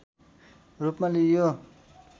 रूपमा लिइयो